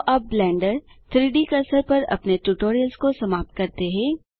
तो अब ब्लेंडर 3डी कर्सर पर अपने ट्यूटोरियल को समाप्त करते हैं